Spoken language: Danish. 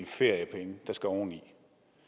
feriepenge der skal lægges oveni